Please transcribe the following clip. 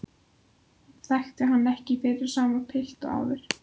Hún þekkir hann ekki fyrir sama pilt og áður.